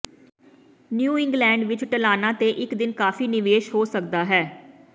new England ਵਿਚ ਢਲਾਣਾਂ ਤੇ ਇਕ ਦਿਨ ਕਾਫ਼ੀ ਨਿਵੇਸ਼ ਹੋ ਸਕਦਾ ਹੈ